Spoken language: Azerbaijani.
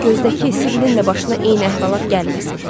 Amma gözdəki Sibilin də başına eyni əhvalat gəlməsin.